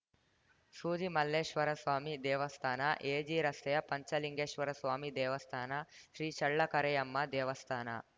ಸೂಜಿಮಲ್ಲೇಶ್ವರಸ್ವಾಮಿ ದೇವಸ್ಥಾನ ಎಜಿರಸ್ತೆಯ ಪಂಚಲಿಂಗೇಶ್ವರಸ್ವಾಮಿ ದೇವಸ್ಥಾನ ಶ್ರೀಚಳ್ಳಕರೆಯಮ್ಮ ದೇವಸ್ಥಾನ